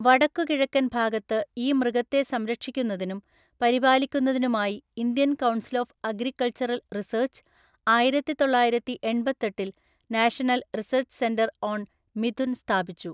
വടക്കുകിഴക്കൻ ഭാഗത്ത് ഈ മൃഗത്തെ സംരക്ഷിക്കുന്നതിനും പരിപാലിക്കുന്നതിനുമായി, Indian council of agricultural research ആയിരത്തിതൊള്ളായിരത്തി എണ്‍പത്തെട്ടില്‍ national research centre on mithun സ്ഥാപിച്ചു.